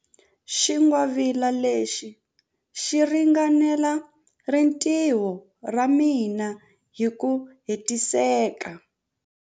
Xingwavila lexi xi ringanela rintiho ra mina hi ku hetiseka.